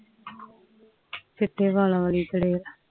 ਚੀਤੇ ਵਾਲਾ ਵਾਲੀ ਚੜੇਲ